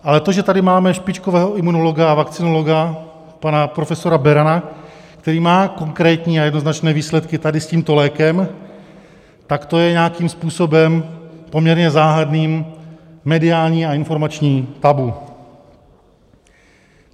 Ale to, že tady máme špičkového imunologa a vakcinologa, pana profesora Berana, který má konkrétní a jednoznačné výsledky tady s tímto lékem, tak to je nějakým způsobem, poměrně záhadným, mediální a informační tabu.